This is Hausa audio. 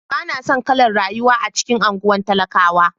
Ba na son kalar rayuwa a cikin anguwan talakawa.